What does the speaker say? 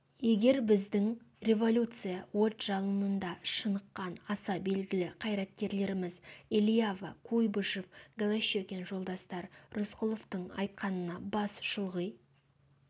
егер біздің революция от-жалынында шыныққан аса белгілі қайраткерлеріміз элиава куйбышев голощекин жолдастар рысқұловтың айтқанына бас шұлғи